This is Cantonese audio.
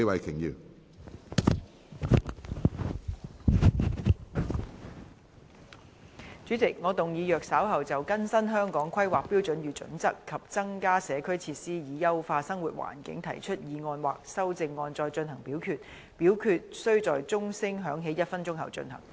主席，我動議若稍後就"更新《香港規劃標準與準則》及增加社區設施以優化生活環境"所提出的議案或修正案再進行點名表決，表決須在鐘聲響起1分鐘後進行。